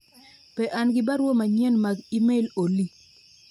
be an gi barua manyien mag email Olly